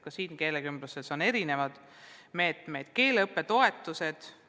Keelekümbluses on erinevaid meetmeid, on ka keeleõppetoetused.